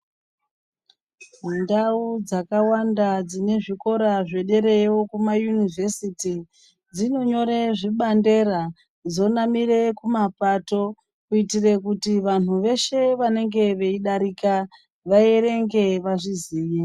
Ndau dzakawanda dzine zvikora zvederayo Kuma yunivhesiti dzinonyora zvibandera dzonamira Kuma pato kuitira kuti vantu veshe vanenge veidarika vaerenge vazviziye.